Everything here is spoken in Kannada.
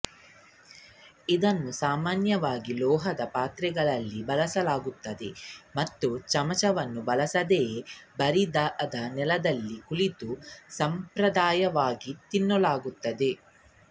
ಇದನ್ನು ಸಾಮಾನ್ಯವಾಗಿ ಲೋಹದ ಪಾತ್ರೆಗಳಲ್ಲಿ ಬಳಸಲಾಗುತ್ತದೆ ಮತ್ತು ಚಮಚವನ್ನು ಬಳಸದೆ ಬರಿದಾದ ನೆಲದಲ್ಲಿ ಕುಳಿತು ಸಾಂಪ್ರದಾಯಿಕವಾಗಿ ತಿನ್ನಲಾಗುತ್ತದೆ